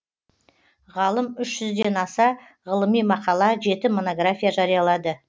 ғалым үш жүзден аса ғылыми мақала жеті монография жариялады